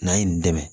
N'a ye nin dɛmɛ